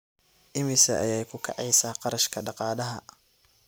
Immisa ayay ku kacaysaa kharashka daaqadaha?